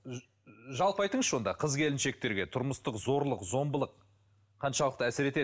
жалпы айтыңызшы онда қыз келіншектерге тұрмыстық зорлық зомбылық қаншалықты әсер етеді